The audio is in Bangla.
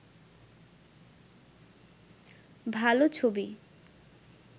ভাল ছবি